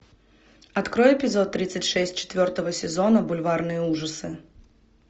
открой эпизод тридцать шесть четвертого сезона бульварные ужасы